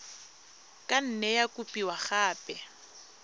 ka nne ya kopiwa gape